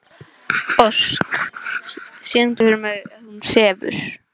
Ósk, syngdu fyrir mig „Hún sefur“.